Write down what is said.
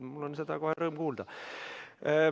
Mul seda kohe rõõm kuulda.